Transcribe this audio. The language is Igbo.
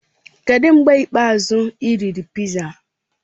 Kedụ mgbe ikpeazụ ị riri piza?